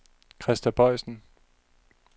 Krista Boysen